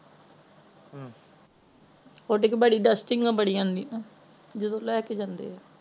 ਉਡ ਕੇ ਬੜੀ ਦੁਸਟਿੰਗ ਨਾ ਬੜੀ ਆਂਦੀ ਨਾ ਜਦੋ ਲੈਕੇ ਜਾਂਦੇ ਆ